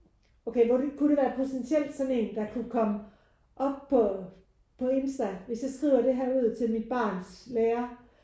Okay kunne det være potentielt sådan en der kunne komme op på på Insta hvis jeg skriver det her ud til mit barns lærer?